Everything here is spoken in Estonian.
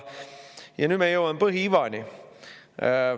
Ja nüüd me jõuame põhiivani.